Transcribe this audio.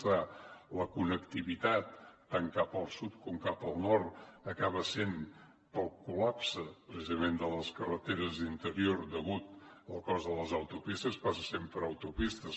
és clar la connectivitat tant cap al sud com cap al nord acaba sent pel col·lapse precisament de les carreteres d’interior degut al cost de les autopistes passa per les autopistes